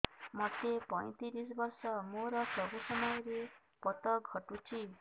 ମୋତେ ପଇଂତିରିଶ ବର୍ଷ ମୋର ସବୁ ସମୟରେ ପତ ଘଟୁଛି